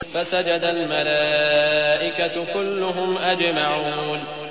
فَسَجَدَ الْمَلَائِكَةُ كُلُّهُمْ أَجْمَعُونَ